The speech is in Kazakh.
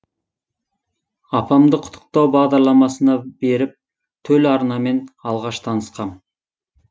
апамды құттықтау бағдарламасына беріп төл арнамен алғаш танысқам